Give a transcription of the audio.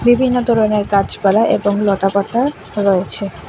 বিভিন্ন ধরনের গাছপালা এবং লতাপাতা রয়েছে।